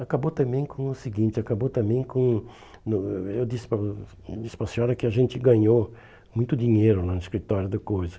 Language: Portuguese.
Acabou também com o seguinte, acabou também com o, hum eu disse para o eu disse para a senhora que a gente ganhou muito dinheiro lá no escritório da coisa.